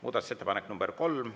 Muudatusettepanek nr 3.